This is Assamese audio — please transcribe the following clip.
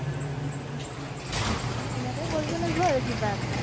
অ সেনেকে কৰিব লাগিব আৰু কিবা এটা